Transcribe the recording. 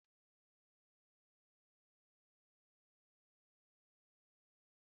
Kwa izu ụka ọ bụla, Sarah na-eri ofe akwu na osikapa